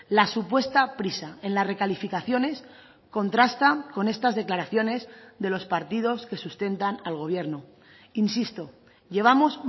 la supuesta prisa en las recalificaciones contrasta con estas declaraciones de los partidos que sustentan al gobierno insisto llevamos